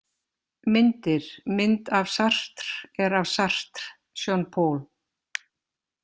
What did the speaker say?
Myndir Mynd af Sartre er af Sartre, Jean-Paul.